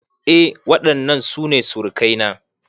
Eh waɗannan su ne surukai na